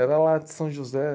Era lá de São José.